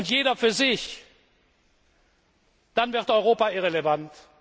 Jeder für sich dann wird Europa irrelevant.